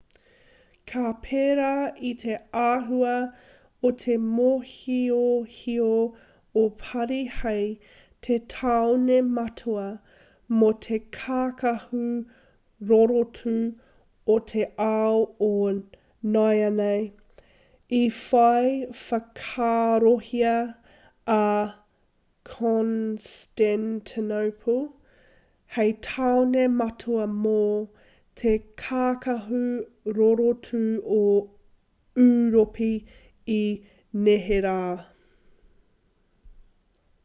ka pērā i te āhua o te mōhiohio o parī hei te tāone matua mō te kākahu rorotu o te ao o nāianei i whai whakaarohia a constantinople hei tāone matua mō te kākahu rorotu o ūropi i neherā